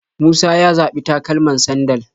Musa ya zaɓi takalaman sandal